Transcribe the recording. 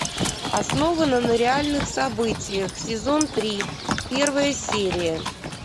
основано на реальных событиях сезон три первая серия